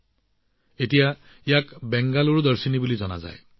বৰ্তমান ইয়াক বেংগালুৰু দৰ্শনী নামেৰে জনা যায়